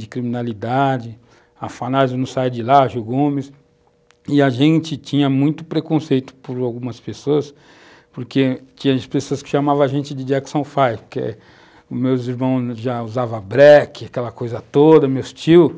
de criminalidade, Afanasio não sai de lá, a Gil Gomes, e a gente tinha muito preconceito por algumas pessoas, porque tinha as pessoas que chamavam a gente de Jackson Five, que os meus irmãos já usavam black, aquela coisa toda, meus tios,